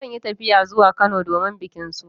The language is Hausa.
Zan yi tafiya zuwa Kano domin bikin suna.